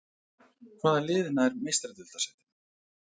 Hvaða lið nær Meistaradeildarsætinu?